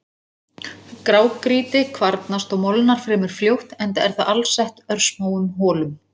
Grágrýti kvarnast og molnar fremur fljótt enda er það alsett örsmáum holum.